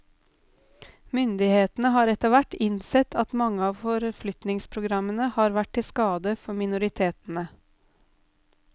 Myndighetene har etterhvert innsett at mange av forflytningsprogrammene har vært til skade for minoritetene.